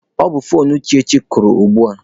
Ọ bụ foonu Uchechi kụrụ ugbua